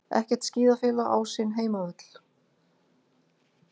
Ekkert skíðafélag á sinn heimavöll